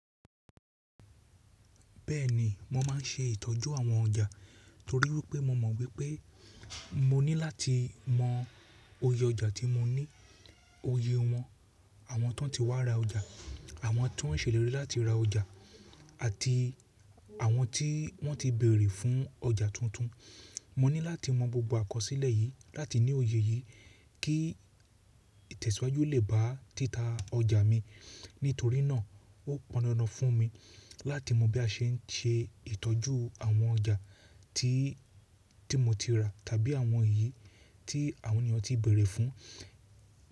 Bẹ́ẹ̀ni, mo má ń se ìtọ́jú àwọn ọjà torí pé mo mọ̀ wípé mo ní láti mọ oyè ọjà tí mo ní, oyè wọn, àwọn tan ti wá ra ọjà, àwọn tó ń ṣe ìlérí láti ra ọjà àti àwọn tí wọ́n ti béèrè fún ọjà tuntun. Mo ní láti mọ gbogbo àkọsílẹ̀ yìí láti ní òye yìí kí ìtẹ̀síwájú lè bá títà ọjà mi. Nítorí náà ó pọn dandan fún mi láti mọ̀ bí a se ń se ìtọ́jú àwọn ọjà tí mo ti rà tàbí àwọn èyí tí àwọn ènìyàn ti béèrè fún.